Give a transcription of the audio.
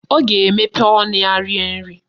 Ọ ga-emepe ọnụ ya rie nri